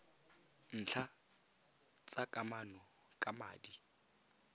ntlha tsa kamano ka madi